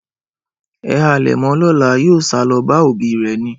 Ẹ halẹ̀ mọ lọ́la, yóò sálọ bá òbí rẹ̀ ni.